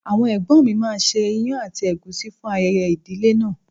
Àwọn ẹ̀gbọ́n mi máa ṣe ìyàn àti ègúsí fún ayẹyẹ ìdílé náà.